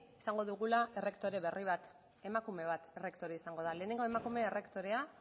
izango dugula errektore berri bat emakume bat errektore izango da lehen emakume errektorea